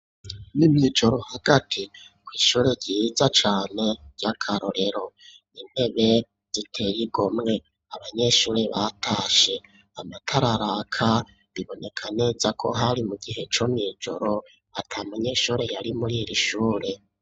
Mw'ijoro hagati kw' ishure ryiza cane ry'akarorero ,intebe zitey'igomwe ,abanyeshuri batashe, amatara araka ,biboneka neza ko hari mu gihe co mw'ijoro ata munyeshuri yari muri iri shure.